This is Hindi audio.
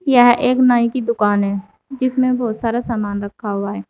यह एक नाई की दुकान है जिसमें बहुत सारा सामान रखा हुआ है।